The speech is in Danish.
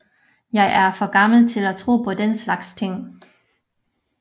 Jeg er for gammel til at tro på den slags ting